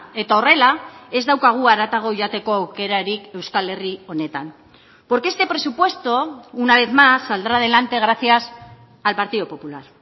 eta horrela ez daukagu haratago joateko aukerarik euskal herri honetan porque este presupuesto una vez más saldrá adelante gracias al partido popular